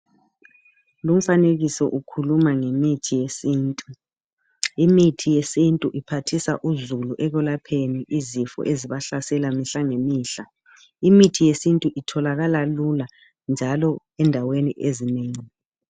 Lumfanekiso ukhuluma ngemithi yesintu. Imithi yesintu iphathisa uzulu ekwelapheni izifo ezibahlasela mihla ngemihla .Imithi yesintu itholakala lula njalo endaweni ezinengi.